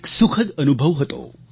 એક સુખદ અનુભવ હતો